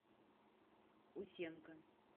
усенко